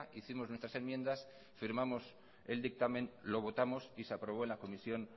hicimos nuestras enmiendas firmamos el dictamen lo votamos y se aprobó en la comisión